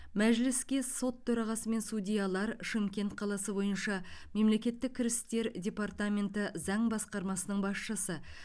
мәжіліске сот төрағасы мен судьялар шымкент қаласы бойынша мемлекеттік кірістер департаменті заң басқармасының басшысы